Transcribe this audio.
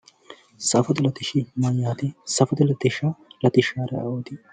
Safote latishsha yaa mayyaate? Safote latishsha latissaari ayeooti?